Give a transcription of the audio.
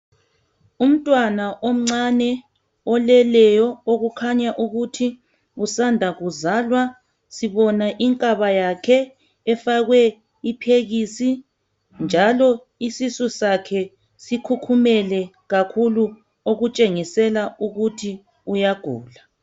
Umntwana omncane oleleyo okukhanya ukuthi usanda kuzalwa. Sibona inkaba yakhe efakwe iphekisi njalo isisu sakhe sikhukhumele kakhulu okutshengisela ukuthi uyagula.